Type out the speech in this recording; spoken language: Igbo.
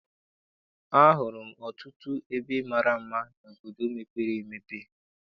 A hụrụ m ọtụtụ ebe mara mma n'obodo mepere emepe.